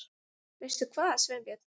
Veistu hvað, Sveinbjörn?